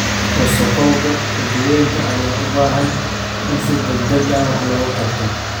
Wasakhowga badweynta ayaa u baahan in si degdeg ah wax looga qabto.